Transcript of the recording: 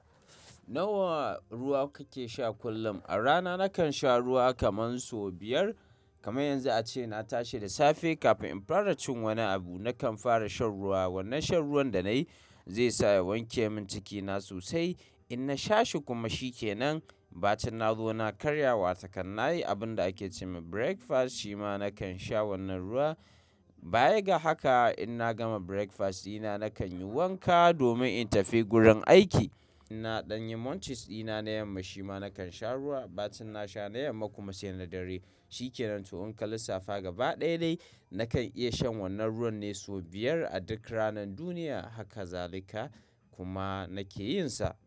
Nawa ruwa kake sha kullum? A rana nakan sha ruwa kaman so biyar. Kamar yanzu ace na tashi da safe, kafin in fara cin wani abu, nakan fara shan ruwa. Wannan shan ruwan da nay, i zai sa ya wanke min cikina sosai, inna sha shi kuma shikenan, bacin na zo na karya wa takan. Na yi abun da ake ce ma breakfast, shima nakan sha wannan ruwa, baya ga haka, inna gama breakfast dina nakan yi wanka, domin in tafi gurin aiki. Inna ɗan yi moncis ɗina, na yamma shima nakan sha ruwa. Bacin na sha na yamma kuma, sai na dare. Shikenan to in ka lissafa gaba ɗaya dai, nakan iya shan wannan ruwan ne so biyar a duk ranar duniya. Haka zalika, kuma nake yin sa.